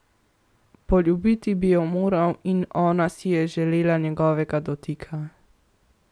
Poljubiti bi jo moral in ona si je želela njegovega dotika.